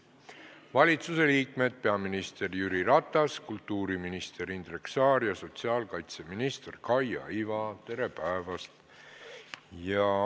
Valitsusliikmed peaminister Jüri Ratas, kultuuriminister Indrek Saar ja sotsiaalkaitseminister Kaia Iva, tere päevast!